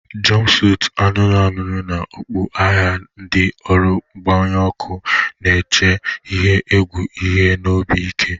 Jompusutu anụnụ anụnụ na okpu agha, ndị ọrụ mgbanyụ ọkụ na-eche ihe egwu ihu na obi ike.